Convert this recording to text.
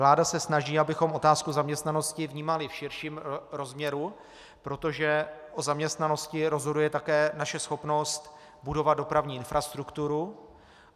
Vláda se snaží, abychom otázku zaměstnanosti vnímali v širším rozměru, protože o zaměstnanosti rozhoduje také naše schopnost budovat dopravní infrastrukturu.